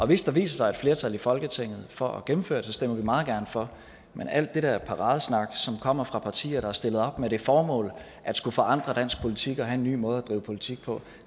hvis der viser sig et flertal i folketinget for at gennemføre det stemmer vi meget gerne for men alt det der paradesnak som kommer fra partier der har stillet op med det formål at skulle forandre dansk politik og have en ny måde at drive politik på